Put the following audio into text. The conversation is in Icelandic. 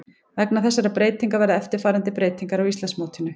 Vegna þessarar breytingar verða eftirfarandi breytingar á Íslandsmótinu: